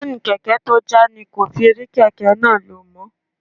Seeni kèké tó já ni kò fi rí kèké náà lo mó.